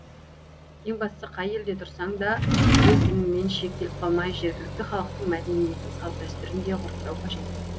ең бастысы қай елде тұрсаң да өз дініңмен шектеліп қалмай жергілікті халықтың мәдениетін салт дәстүрін де ғұрыптау қажет